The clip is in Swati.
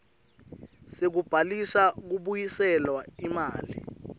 sekubhalisa kubuyiselwa imali